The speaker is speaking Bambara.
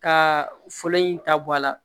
Ka fɔlɔ in ta bɔ a la